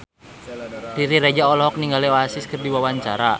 Riri Reza olohok ningali Oasis keur diwawancara